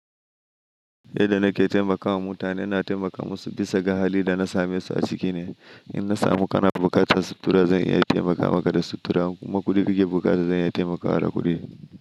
Yadda nake taimakawa mutane, na taimaka musu bisa ga hali da na same su a ciki ne. In na samu ƙananan buƙatun sutura, zan iya taimaka maka da sutura, kuma kuɗin rage buƙata zan iya taimakawa da kuɗi.